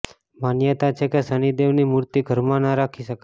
માન્યતા છે કે શનિદેવની મૂર્તિ ઘરમાં ન રાખી શકાય